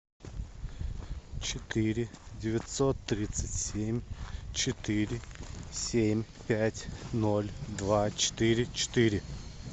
четыре девятьсот тридцать семь четыре семь пять ноль два четыре четыре